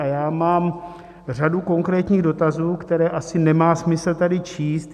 A já mám řadu konkrétních dotazů, které asi nemá smysl tady číst.